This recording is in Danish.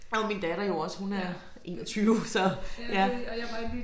Det var min datter jo også hun er 21 så ja